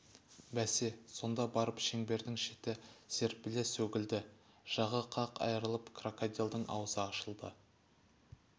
бәсе сонда барып шеңбердің шеті серпіле сөгілді жағы қақ айрылып крокодилдің аузы ашылды